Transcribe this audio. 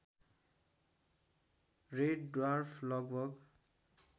red dwarf लगभग